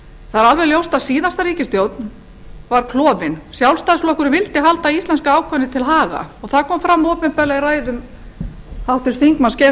það er alveg ljóst að síðasta ríkisstjórn var klofin sjálfstæðisflokkurinn vildi halda íslenska ákvæðinu til haga og það kom fram opinberlega í ræðu háttvirts þingmanns geirs h